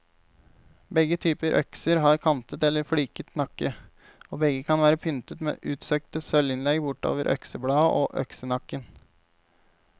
Begge typer økser har kantet eller fliket nakke, og begge kan være pyntet med utsøkte sølvinnlegg bortover øksebladet og øksenakken.